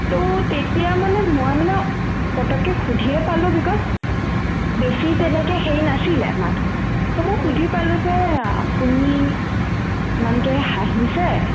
to তেতিয়া মানে মই মানে পতককে সুধিয়ে পালো because বেছি তেনেকে সেই নাছিলে মানুহ to মই সুধি পালো যে আপুনি মানুহটোয়ে হাঁহিছে